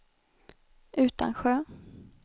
Utansjö